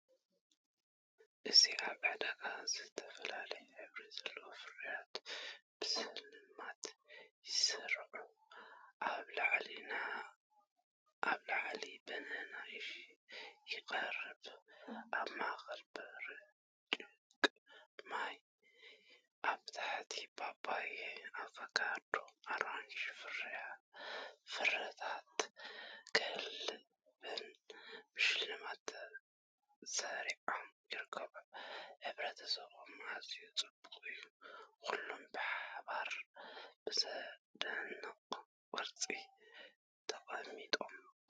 እዚ ኣብ ዕዳጋ እተፈላለየ ሕብሪ ዘለዎም ፍረታት ብስልማት ይስርዑ፤ ኣብ ላዕሊ ባናና ይቐርብ፣ ኣብ ማእከል ብርጭቅ ማይ፣ ኣብ ታሕቲ ፓፓያ፣ ኣቮካዶ፣ ኣራንሺን ፍረታት ገበልን ብሽልማት ተሰሪዖም ይርከቡ። ሕብርታቶም ኣዝዩ ጽቡቕ እዩ፤ ኩሎም ብሓባር ብዘደንቕ ቅርጺ ተቐሚጦም።